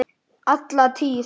Alla tíð.